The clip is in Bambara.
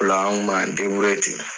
Olaan kuma ten.